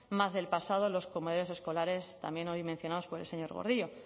más del pasado los comedores escolares también hoy mencionados por el señor gordillo